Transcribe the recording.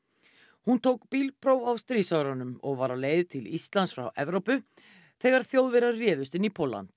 hún tók bílpróf á stríðsárunum og var á leið til Íslands frá Evrópu þegar Þjóðverjar réðust inn í Pólland